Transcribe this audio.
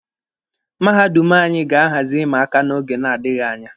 Mahadum anyị ga-ahazi ịma aka n'oge na-adịghi anya.